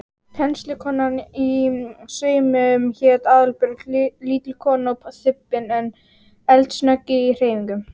Kennslukonan í saumum hét Aðalbjörg, lítil kona og þybbin en eldsnögg í hreyfingum.